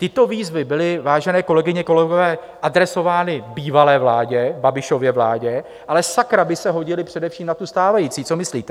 Tyto výzvy byly, vážené kolegyně, kolegové, adresovány bývalé vládě, Babišově vládě, ale sakra by se hodily především na tu stávající, co myslíte?